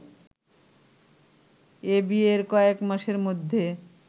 এ ‘বিয়ে’র কয়েক মাসের মধ্যে